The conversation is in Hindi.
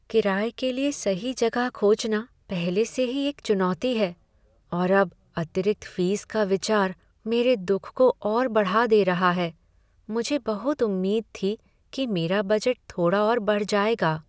किराये के लिए सही जगह खोजना पहले से ही एक चुनौती है, और अब अतिरिक्त फीस का विचार मेरे दुख को और बढ़ा दे रहा है। मुझे बहुत उम्मीद थी कि मेरा बजट थोड़ा और बढ़ जाएगा।